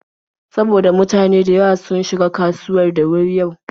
Saboda mutane da yawa sun shiga kasuwar da wuri yau.